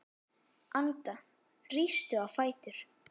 Anda, rístu á fætur.